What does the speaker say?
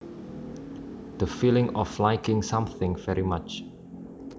The feeling of liking something very much